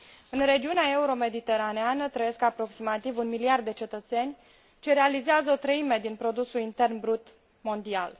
În regiunea euro mediteraneană trăiesc aproximativ un miliard de cetățeni ce realizează o treime din produsul intern brut mondial.